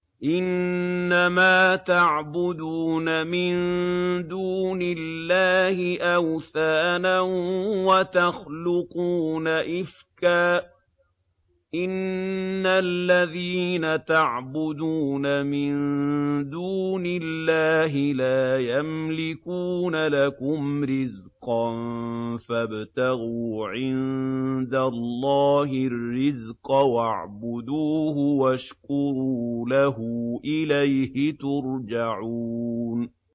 إِنَّمَا تَعْبُدُونَ مِن دُونِ اللَّهِ أَوْثَانًا وَتَخْلُقُونَ إِفْكًا ۚ إِنَّ الَّذِينَ تَعْبُدُونَ مِن دُونِ اللَّهِ لَا يَمْلِكُونَ لَكُمْ رِزْقًا فَابْتَغُوا عِندَ اللَّهِ الرِّزْقَ وَاعْبُدُوهُ وَاشْكُرُوا لَهُ ۖ إِلَيْهِ تُرْجَعُونَ